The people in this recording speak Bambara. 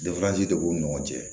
de b'u ni ɲɔgɔn cɛ